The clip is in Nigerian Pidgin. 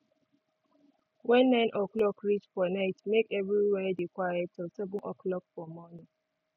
wen 9 oclock reach for night make everywhere dey quiet till 7 oclock for morning